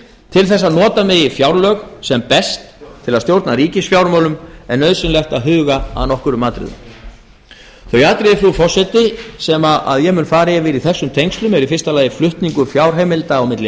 til að nota megi fjárlög sem best til að stjórna ríkisfjármálum er nauðsynlegt að huga að nokkrum atriðum þau atriði frú forseti sem ég mun fara yfir í þessum tengslum eru í fyrsta lagi flutningur fjárheimilda á milli